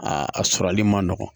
A a sɔrɔli man nɔgɔn